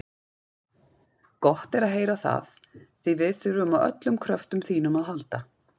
Gott er að heyra það, því við þurfum á öllum kröftum þínum að halda.